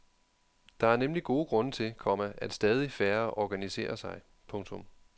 Der er nemlig gode grunde til, komma at stadig færre organiserer sig. punktum